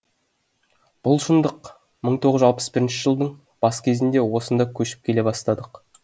бұл шындық мың тоғыз жүз алпыс бірінші жылдың бас кезінде осында көшіп келе бастадық